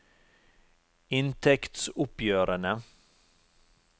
inntektsoppgjørene